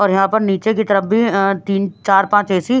और यहां पर नीचे की तरफ भी अ तीन चार पांच ए_सी --